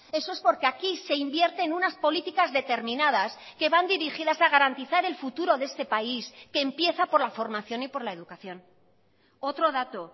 eso es porque aquí se invierte en unas políticas determinadas que van dirigidas a garantizar el futuro de este país que empieza por la formación y por la educación otro dato